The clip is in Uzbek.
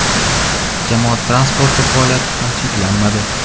Jamoat transporti faoliyati ham cheklanmadi.